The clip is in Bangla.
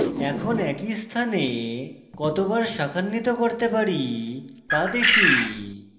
এখন একই স্থানে কতবার শাখান্বিত করতে পারি তা দেখি